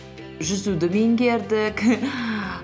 жүзуді меңгердік